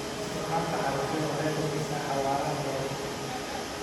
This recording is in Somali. Isticmaalka cagafyada waxay kordhisaa xawaaraha beerashada.